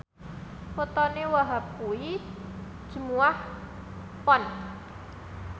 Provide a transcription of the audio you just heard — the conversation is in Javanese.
wetone Wahhab kuwi Jumuwah Pon